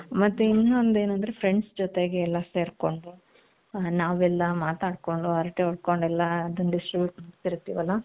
ಮತ್ತೆ ಇನ್ನೊಂದು ಏನು ಅಂದ್ರೆ friends ಜೊತೆಗೆ ಎಲ್ಲಾ ಸೇರ್ಕೊಂಡು ನಾವೆಲ್ಲಾ ಮಾತಾಡ್ಕೊಂಡು ಹರಟೆ ಹೊಡ್ಕೊಂಡ್ಡೆಲ್ಲಾ ಅದನ್ನ distribute ಮಾಡ್ತಿತೀವಲ್ಲ.